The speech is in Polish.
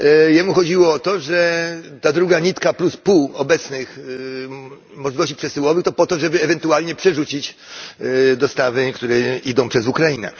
Jemu chodziło o to, że ta druga nitka plus pół obecnych możliwości przesyłowych to po to, żeby ewentualnie przerzucić dostawy, które idą przez Ukrainę.